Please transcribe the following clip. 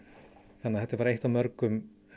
þetta er bara eitt af mörgum